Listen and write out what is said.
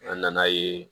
An nan'a ye